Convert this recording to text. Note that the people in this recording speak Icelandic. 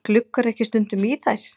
Gluggarðu ekki stundum í þær?